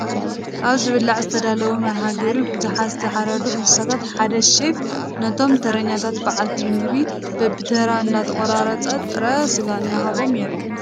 ኣብ ዝብላዕ ዝተዳለወሉ መርሃ ግብሪ ብዙሓት ዝተሓረዱ እንስሳት ሓደ ሼፍ ነቶም ተረኛታት በላዕቲ ምግቢ በቢተራ እንዳቆረፀ ጥረ ስጋ እንትህቦም የርኢ፡፡